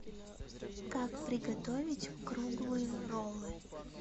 как приготовить круглые роллы